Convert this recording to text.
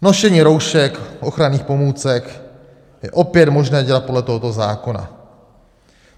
Nošení roušek, ochranných pomůcek je opět možné dělat podle tohoto zákona.